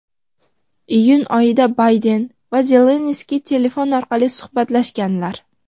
iyun oyida Bayden va Zelenskiy telefon orqali suhbatlashganlar.